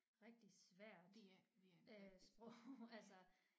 Rigtig svært øh sprog altså